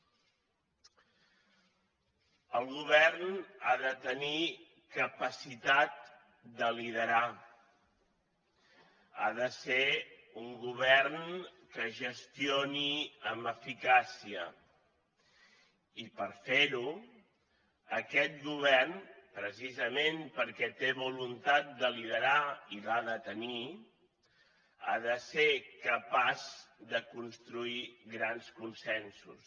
el govern ha de tenir capacitat de liderar ha de ser un govern que gestioni amb eficàcia i per fer ho aquest govern precisament perquè té voluntat de liderar i l’ha de tenir ha de ser capaç de construir grans consensos